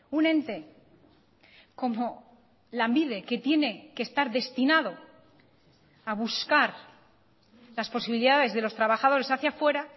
un ente como lanbide que tiene que estar destinado a buscar las posibilidades de los trabajadores hacia fuera